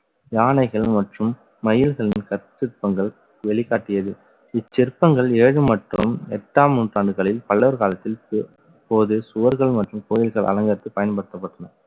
யானைகள் மற்றும் மயில்களின் கற்சிற்பங்கள் வெளிக்காட்டியது. இச்சிற்பங்கள் ஏழு மற்றும் எட்டாம் நூற்றாண்டுகளில் பல்லர் காலத்தில் போ~ இப்போது சுவர்கள் மற்றும் கோயில்கள் அலங்காரத்துக்கு பயன்படுத்தப்பட்டன